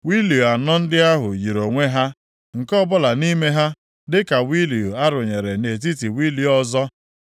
Wịịlu anọ ndị ahụ yiri onwe ha. Nke ọbụla nʼime ha dịka wịịlu a rụnyere nʼetiti wịịlu ọzọ.